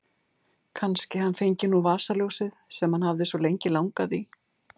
Kannski hann fengi nú vasaljósið sem hann hafði svo lengi langað í.